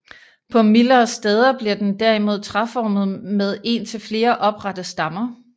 På mildere steder bliver den derimod træformet med en til flere oprette stammer